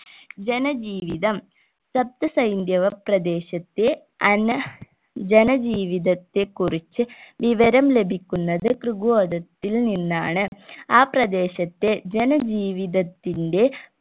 ജനജീവിതം സപ്തസ ഹൈന്ദവ പ്രദേശത്തെ അന ജനജീവിതത്തെക്കുറിച്ച് വിവരം ലഭിക്കുന്നത് തൃകോതത്തിൽ നിന്നാണ് ആ പ്രദേശത്തെ ജനജീവിതത്തിന്റെ